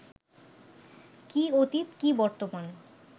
কি অতীত কি বর্তমান